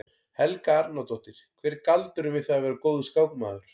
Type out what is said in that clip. Helga Arnardóttir: Hver er galdurinn við það að vera góður skákmaður?